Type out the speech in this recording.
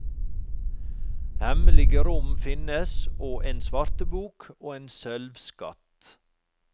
Hemmelige rom finnes og en svartebok og en sølvskatt.